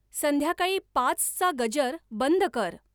संध्याकाळी पाचचा गजर बंद कर